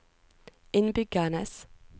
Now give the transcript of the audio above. innbyggernes